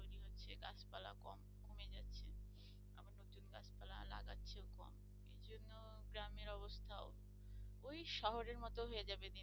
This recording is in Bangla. গ্রামের অবস্থাও ওই শহরের মতো হয়ে যাবে দিন